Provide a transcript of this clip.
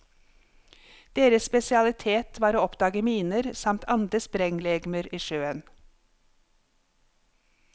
Deres spesialitet var å oppdage miner, samt andre sprenglegemer i sjøen.